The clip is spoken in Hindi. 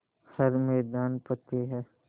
हर मैदान फ़तेह